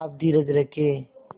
आप धीरज रखें